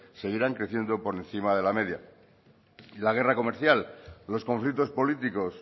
seguirán creciendo por encima de la media la guerra comercial los conflictos políticos